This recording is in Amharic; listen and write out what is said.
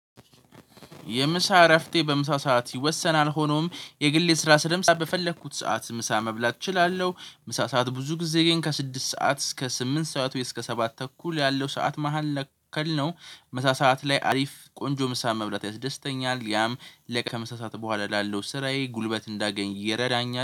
የምሳ እረፍቴ በምሳ ሰዓት ይወሰናል ሆኖም የግል ስራ ስለምሰራ በፈለግሁት ሰዓት ምሳ መብላት እችላለሁ። ምሳ ሰዓት ብዙ ጊዜ ግን ከ ስድስት ሰዓት እስከ ስምንት ሰዓት ወይ እስከ ሰባት ተኩል ያለው ሰዓት መካከል ነው። ምሳ ስዓት ላይ አሪፍ ቆንጆ ምሳ መብላት ያስደስተኛል ያም። ከምሳ ስዓት በኋላ ላለው ስራዬ ጉልበት እንዳገኝ ይረዳኛል